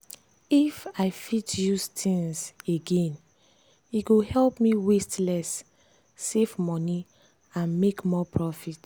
if i fit use things again e go help me waste less save money and make more profit.